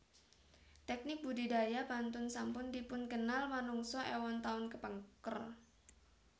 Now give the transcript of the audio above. Teknik budidaya pantun sampun dipunkenal manungsa éwon taun kepengker